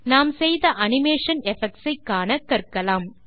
நாம் செய்த animation effects ஐ காண கற்கலாம்